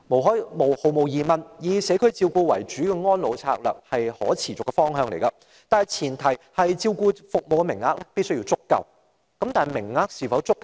毫無疑問，以社區照顧為主的安老策略是可持續的方向，但前提是照顧服務的名額必須足夠。